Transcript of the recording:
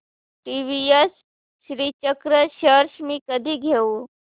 TVS Srichakra shares मी कधी घेऊ